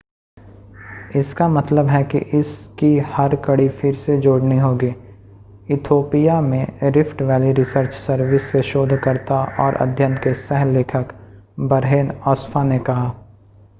इसका मतलब है कि इस की हर कड़ी फिर से जोड़नी होगी ईथोपिया में रिफ़्ट वैली रिसर्च सर्विस के शोधकर्ता और अध्ययन के सह-लेखक बरहेन अस्फ़ॉ ने कहा